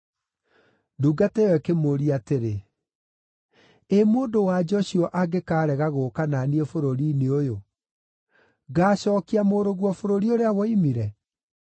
Ndungata ĩyo ĩkĩmũũria atĩrĩ, “Ĩ mũndũ-wa-nja ũcio angĩkaarega gũũka na niĩ bũrũri-inĩ ũyũ? Ngaacookia mũrũguo bũrũri ũrĩa woimire?”